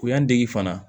O y'an dege fana